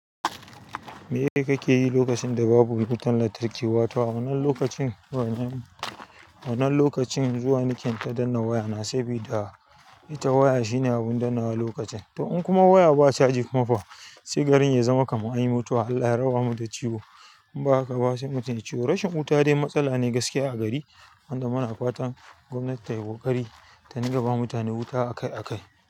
Me kake yi lokacin da babu wutan lantarki? Wato a wannan lokacin zuwa nike in ta danna waya na sabi da ita waya shine abun dannawa lokacin. To in kuma waya ba caji kuma fa sai garin ya zama kaman anyi mutuwa Allah ya rabamu da ciwo in ba haka ba sai mitum ya ciyo. Rashin wuta dai matsala ne gaskiya a gari, wanda muna fatan gwamnati tai ƙoƙari ta ninga ba mutane wuta akai akai.